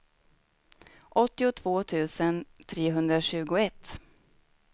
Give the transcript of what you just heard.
åttiotvå tusen trehundratjugoett